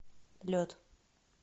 лед